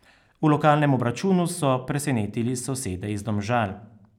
V lokalnem obračunu so presenetili sosede iz Domžal.